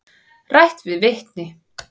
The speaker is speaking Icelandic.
Rætt við vitni.